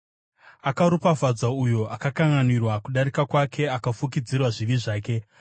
Akaropafadzwa uyo akakanganwirwa kudarika kwake, akafukidzirwa zvivi zvake.